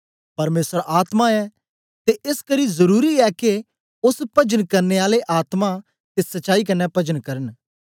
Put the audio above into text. परमेसर आत्मा ऐ ते एसकरी जरुरी ए के ओस पजन करने आले आत्मा ते सच्चाई कन्ने पजन करन